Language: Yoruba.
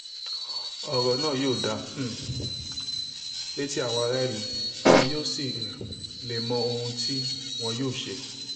ọ̀rọ̀ náà yóò dáa um létí àwọn aráàlú àwọn yóò sì um lè mọ ohun tí wọ́n yọ́ ṣe